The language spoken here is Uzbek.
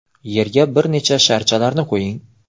Yerga bir necha sharchalarni qo‘ying.